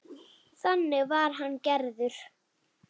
Þannig var hann gerður.